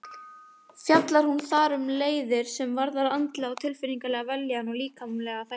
Fjallar hún þar um leiðir sem varða andlega og tilfinningalega vellíðan og líkamlega þætti.